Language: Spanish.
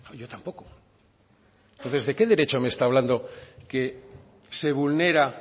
yo tampoco entonces de qué derecho me está hablando que se vulnera